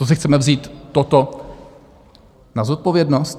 To si chceme vzít toto na zodpovědnost?